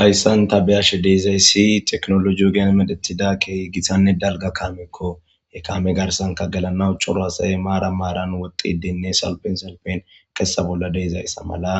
Hayssan ta biyashe deezay si teknologiyo geen medetida keey githanne dalga kaamekko he kame garsanka gelanawu coro hasaye maara maaran woxxi dinne salpin salpen kessa bolla deezayssa mala